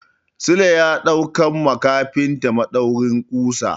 Sule ya daukar ma kafinta maɗaurin ƙusa.